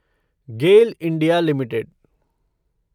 Gayle India limited